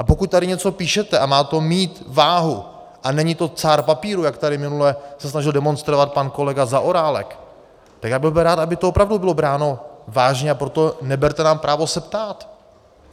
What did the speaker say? A pokud tady něco píšete a má to mít váhu a není to cár papíru, jak tady minule se snažil demonstrovat pan kolega Zaorálek, tak já bych byl rád, aby to opravdu bylo bráno vážně, a proto neberte nám právo se ptát.